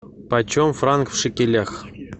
почем франк в шекелях